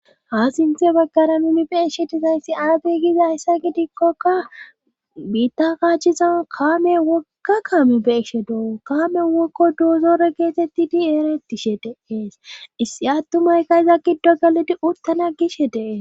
ha sinthe baggara numi beeshe dizayssi aade giza yssa gidikkoka biitta kaachizan kaame wokka kaame beeshe doo kaame wokko doozoore geetetti diereti she deees issi attumayka iza giddo galidi urtana gishe dee